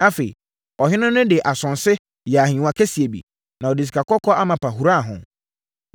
Afei, ɔhene no de asonse yɛɛ ahennwa kɛseɛ bi, na ɔde sikakɔkɔɔ amapa huraa ho.